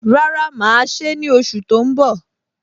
Rárá, mà á ṣe é ní oṣù tó ń bọ̀